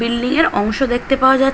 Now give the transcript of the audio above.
building এর অংশ দেখতে পাওয়া যা--